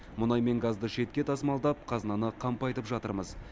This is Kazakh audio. мұнай мен газды шетке тасымалдап қазынаны қампайтып жатырмыз